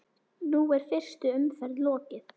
Nú er fyrstu umferð lokið.